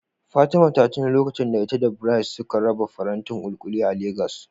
Fatima ta tuno lokacin da ita da Bright suka raba farantin kulikuli a Legas.